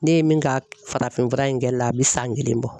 Ne ye min ka farafin fura in kɛlila a bɛ san kelen bɔ.